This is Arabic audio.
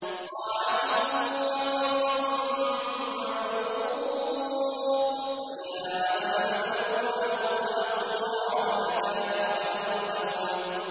طَاعَةٌ وَقَوْلٌ مَّعْرُوفٌ ۚ فَإِذَا عَزَمَ الْأَمْرُ فَلَوْ صَدَقُوا اللَّهَ لَكَانَ خَيْرًا لَّهُمْ